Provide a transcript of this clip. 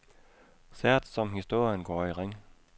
Sært som historien går i ring.